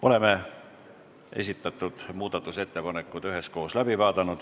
Oleme esitatud muudatusettepanekud üheskoos läbi vaadanud.